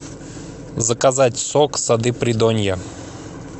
заказать сок сады придонья